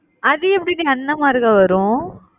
அது எப்படி டி அண்ணன் முறைல வரும்